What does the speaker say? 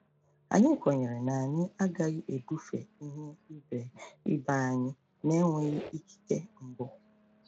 Anyị kwenyere na anyị agaghị ebufe ihe ibe ibe anyị na-enweghị ikike mbụ.